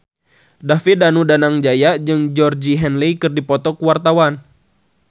David Danu Danangjaya jeung Georgie Henley keur dipoto ku wartawan